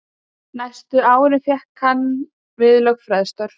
Næstu árin fékkst hann við lögfræðistörf.